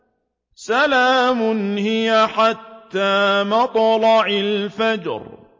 سَلَامٌ هِيَ حَتَّىٰ مَطْلَعِ الْفَجْرِ